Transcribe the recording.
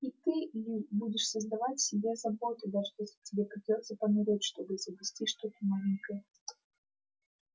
и ты ли будешь создавать себе заботы даже если тебе придётся помереть чтобы изобрести что-то новенькое